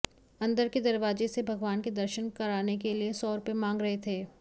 अंदर के दरवाजे से भगवान के दर्शन कराने के लिए सौ रुपए मांग रहे थे